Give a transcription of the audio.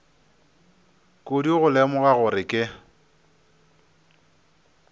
kudu go lemoga gore ke